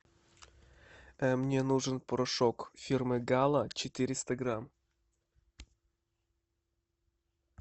мне нужен порошок фирмы гала четыреста грамм